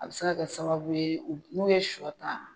A bɛ se ka sababu ye u n'o ye sɔ ta